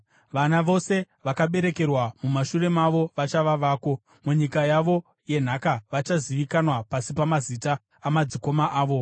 Vana vose vawakaberekerwa mumashure mavo vachava vako; munyika yavo yenhaka vachazivikanwa pasi pamazita amadzikoma avo.